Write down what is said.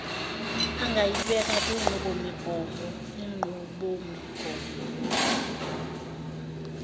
angayibeka kwinqubomigomo inqubomigomo